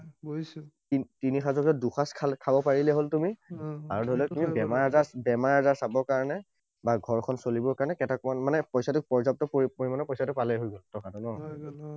বুজিছো। তিনি সাঁজৰ ভিতৰত দুসাঁজ খাব পাৰিলেই হল তুমি। আৰু ধৰি লোৱা তুমি বেমাৰ আজাৰ বেমাৰ আজাৰ চাব কাৰণে, বা ঘৰ খন চলিবৰ কাৰণে কেইটকামান মানে পইছাটো পৰ্যাপ্ত পৰিমাণৰ পইছাটো পালেই হৈ গল, টকাটো ন?